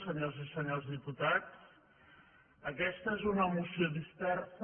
senyores i senyors diputats aquesta és una moció dispersa